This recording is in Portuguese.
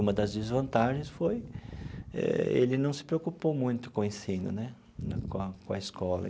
Uma das desvantagens foi eh ele não se preocupou muito com o ensino né, com a com a escola.